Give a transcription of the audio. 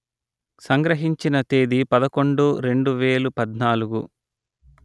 సంగ్రహించిన తేదీ పదకొండు రెండు వేలు పధ్నాలుగు